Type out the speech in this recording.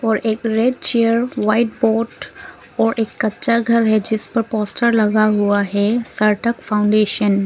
एक red chair white board और कच्चा एक घर है जिस पर पोस्टर लगा हुआ है स्टार्टअप फाउंडेशन ।